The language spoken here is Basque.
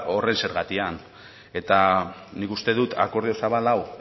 horren zergatian eta nik uste dut akordio zabala